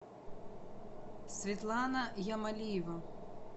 светлана ямалиева